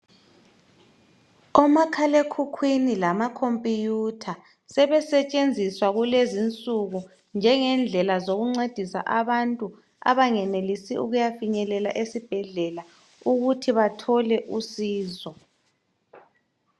Omakhalekhukhwini lama khompiyutha, sebesetshenziswa kulezinsuku njengendlela zokuncedisa abantu abangenelisi ukuyafinyelela esibhedlela ukuthi bathole usizo.